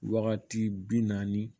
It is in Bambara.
Wagati bi naani